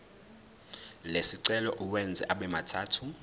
lesicelo uwenze abemathathu